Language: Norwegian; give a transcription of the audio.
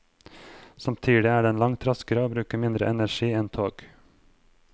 Samtidig er den langt raskere og bruker mindre energi enn tog.